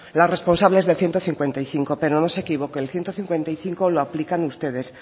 las responsables del ciento cincuenta y cinco pero no se equivoque el ciento cincuenta y cinco lo aplican ustedes